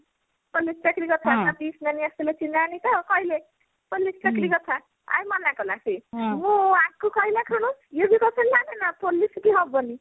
police ଚାକିରି କଥା ଆଜି ସୀମାନି ଆସିଥିଲେ ସୀମାନି ତ କହିଲେ police ଚାକିରି କଥା ଆଉ ମନା କଲା ସିଏ ମୁଁ ଆକୁ କହିଲା କ୍ଷଣି ଇଏ ବି ପଚାରିଲାନି ନା police କି ହବନି